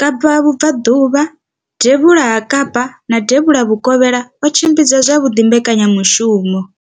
Kapa vhubvaḓuvha, devhula ha Kapa na devhula vhukovhela o tshimbidza zwavhuḓi mbekanyamushumo.